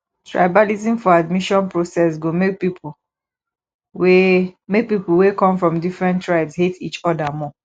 tribalism for admission process go make pipo wey make pipo wey come from different tribes hate each oda more